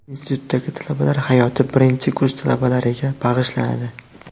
Institutdagi talabalar hayoti birinchi kurs talabalariga bag‘ishlanadi.